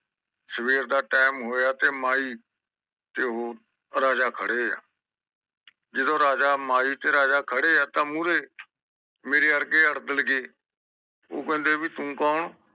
ਸਵੇਰ ਦਾ ਟਾਇਮ ਹੋਇਆ ਤੇ ਮਯੀ ਤੇ ਉਹ ਰਾਜਾ ਖੜੇ ਆ ਜਦੋ ਰਾਜਾ ਮਾਈ ਤੇ ਰਾਜਾ ਖੜੇ ਆ ਤਾ ਮੂਰੇ ਮੇਰੇ ਵਰਗੇ ਗਏ ਉਹ ਕਹਿੰਦੇ ਵੀ ਤੂੰ ਕੌਣ